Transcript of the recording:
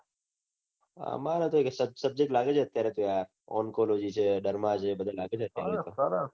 આમરે તો subject લાગેલો છે આત્યાંરે યાર ઓન college છે દરમાં છે બઘા લાગેલા છે